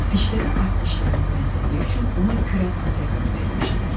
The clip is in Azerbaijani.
Dişləri at dişlərinə bənzədiyi üçün ona Kürən At ləqəbi vermişdilər.